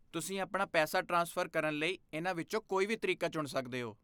ਤੁਸੀਂ ਆਪਣਾ ਪੈਸਾ ਟ੍ਰਾਂਸਫਰ ਕਰਨ ਲਈ ਇਹਨਾਂ ਵਿੱਚੋਂ ਕੋਈ ਵੀ ਤਰੀਕਾ ਚੁਣ ਸਕਦੇ ਹੋ।